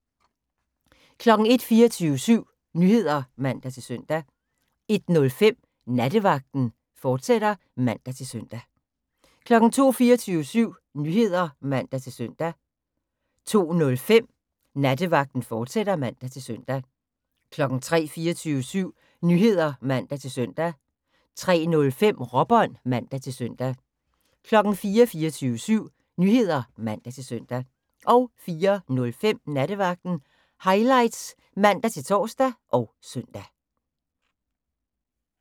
01:00: 24syv Nyheder (man-søn) 01:05: Nattevagten, fortsat (man-søn) 02:00: 24syv Nyheder (man-søn) 02:05: Nattevagten, fortsat (man-søn) 03:00: 24syv Nyheder (man-søn) 03:05: Råbånd (man-søn) 04:00: 24syv Nyheder (man-søn) 04:05: Nattevagten Highlights (man-tor og søn)